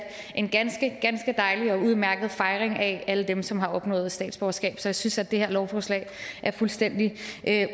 en ganske ganske dejlig og udmærket fejring af alle dem som har opnået statsborgerskab så jeg synes at det her lovforslag er fuldstændig